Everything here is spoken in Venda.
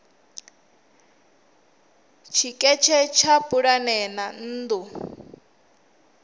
tshiketshe tsha pulane dza nnḓu